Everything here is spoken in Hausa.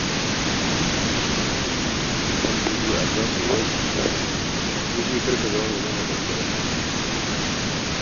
Wanda ya iya allonsa ya wanke, kai dai kar ka zama mai nuna ɓangaranci.